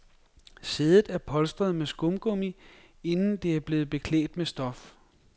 Sædet er polstret med skumgummi, inden det er blevet beklædt med stof.